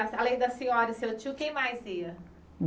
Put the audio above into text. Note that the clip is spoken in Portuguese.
A além da senhora, e seu tio, quem mais ia?